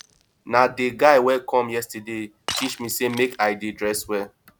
na dey guy wey come yesterday teach me sey make i dey dress well